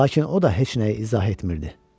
Lakin o da heç nəyi izah etmirdi.